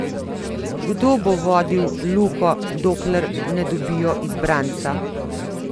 Kdo bo vodil Luko, dokler ne dobijo izbranca?